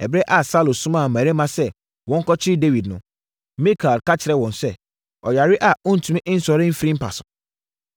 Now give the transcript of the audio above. Ɛberɛ a Saulo somaa mmarima sɛ wɔnkɔkyere Dawid no, Mikal ka kyerɛɛ wɔn sɛ, “Ɔyare a ɔntumi nsɔre mfiri mpa so.”